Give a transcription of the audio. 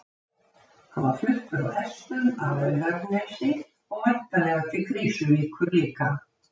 Hann var fluttur á hestum að Laugarnesi og væntanlega til Krýsuvíkur líka.